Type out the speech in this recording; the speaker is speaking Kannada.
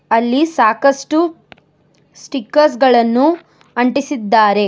ಅಲ್ಲಿ ಸಾಕಷ್ಟು ಸ್ಟಿಕರ್ಸ್ ಗಳನ್ನು ಅಂಟಿಸಿದ್ದಾರೆ.